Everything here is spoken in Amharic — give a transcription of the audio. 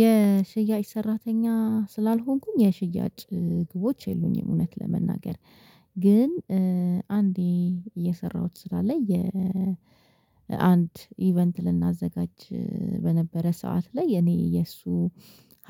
የሽያጭ ሰራተኛ ስላልሆንኩኝ የሽያጭ ግቦች የሉኝም። እውነት ለመናገር ግን አንዴ የሰራሁት ስራ ላይ የአንድ ኢቨንት ልናዘጋጅ በነበረ ሰዓት ላይ የእኔ የእሱ